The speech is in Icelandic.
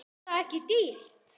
Er það ekki dýrt?